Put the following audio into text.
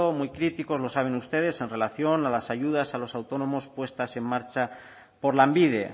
muy críticos lo saben ustedes en relación a las ayudas a los autónomos puestas en marcha por lanbide